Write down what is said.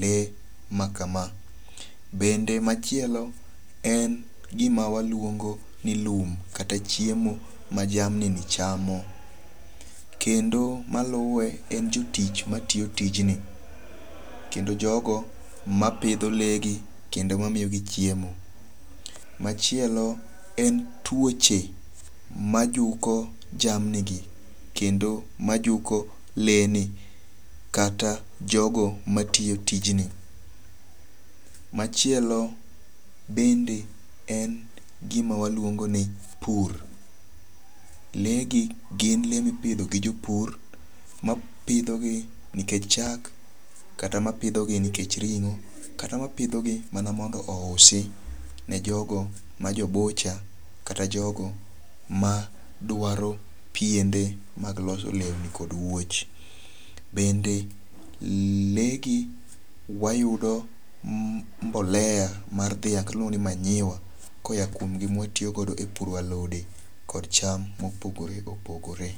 le makama. Bende machielo en gima waluongo ni lum kata chiemo ma jamni ni chamo. Kendo maluwe en jotich matiyo tijni. Kendo jogo mapidho le gi kendo mamiyogi chiemo. Machielo en tuoche majuko jamni gi kendo majuko lee ni kata jogo matiyo tijni. Machielo bende en gima waluongo ni pur. Lee gi gin le mipidho gi jopur mapidho gi nikech chak kata mapidho gi nikech ring'o. Kata mapidho gi mondo ousi ne jogo ma jo bucha kata jogo ma dwaro piende mag loso lewni kod wuoch. Bende le gi wayudo mbolea mar dhiang' kata iluongo ni manyiwa koa kuom gi ma watiyogo e puro alode kod cham mopogore opogore.